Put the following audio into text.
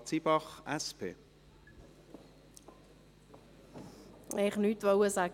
Ich wollte eigentlich nichts sagen.